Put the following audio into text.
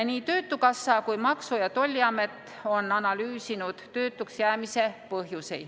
Nii töötukassa kui ka Maksu- ja Tolliamet on analüüsinud töötuks jäämise põhjusi.